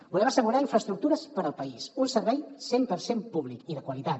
volem assegurar infraestructures per al país un servei cent per cent públic i de qualitat